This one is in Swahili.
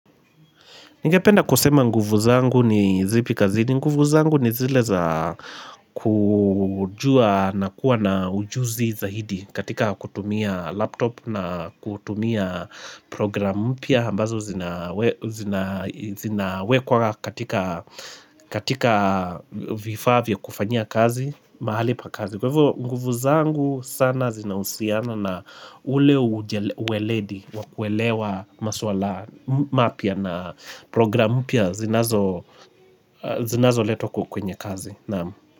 Ningependa kusema nguvu zangu ni zipi kazini, nguvu zangu ni zile za kujua na kuwa na ujuzi zaidi katika kutumia laptop na kutumia programu mpya ambazo zina zinawekwa katika vifaa vya kufanyia kazi, mahali pa kazi. Kwa hivyo nguvu zangu sana zinahusiana na ule uweledi wakuelewa maswala mapya na programu mpya zinazo letwa kwenye kazi naam,